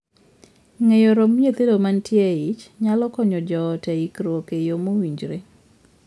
Ng'eyo romb nyithindo mantie eich nyalo konyo joot e ikruok e yoo mowinjore.